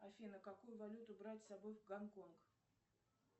афина какую валюту брать с собой в гонконг